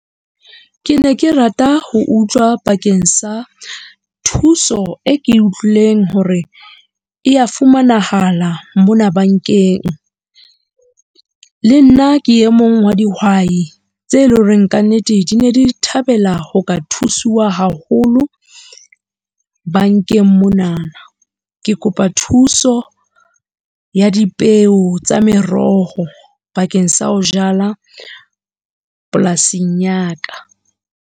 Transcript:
Ke ne ke rata ho utlwa bakeng sa thuso e ke utlwileng hore e ya fumanahala mona bankeng. Le nna ke e mong wa dihwai tse leng horeng ka nnete di ne di thabela ho ka thusiwa haholo bankeng monana. Ke kopa thuso ya dipeo tsa meroho bakeng sa ho jala, polasing ya ka.